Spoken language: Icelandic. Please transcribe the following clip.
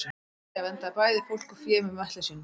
maría verndaði bæði fólk og fé með möttli sínum